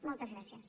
moltes gràcies